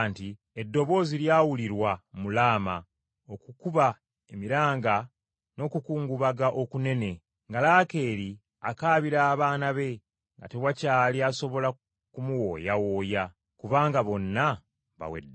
“Eddoboozi lyawulirwa mu Laama, okukuba emiranga n’okukungubaga okunene, nga Laakeeri akaabira abaana be, nga tewakyali asobola kumuwooyawooya, kubanga bonna baweddewo.”